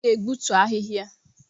M ga-egbutu ahịhịa